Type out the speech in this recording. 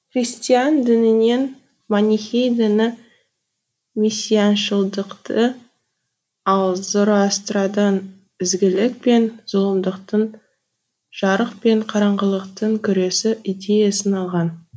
христиан дінінен манихей діні мессианшылдықты ал зороастрадан ізгілік пен зұлымдықтың жарық пен қараңғылықтың күресі идеясын алған